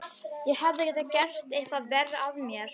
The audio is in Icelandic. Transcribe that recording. Ég hefði getað gert eitthvað verra af mér.